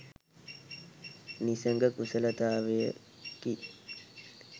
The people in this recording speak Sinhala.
නිසග කුසලතාවකි.